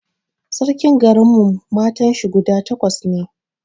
Sarkin garin mu matan shi guda takwas ne